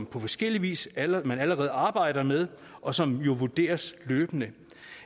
på forskellig vis allerede arbejder med og som vurderes løbende